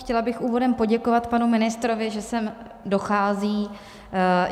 Chtěla bych úvodem poděkovat panu ministrovi, že sem dochází.